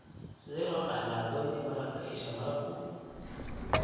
Sidee loo dhaxlaa Doyne malabka isha malabku?